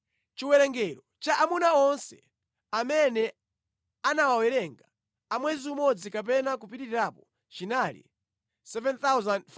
Chiwerengero cha amuna onse amene anawawerenga a mwezi umodzi kapena kupitirirapo chinali 7,500.